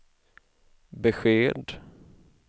besked